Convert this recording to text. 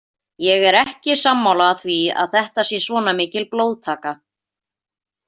Ég er ekki sammála því að þetta sé svona mikil blóðtaka.